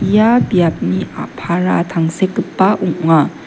ia biapni a·para tangsekgipa ong·a.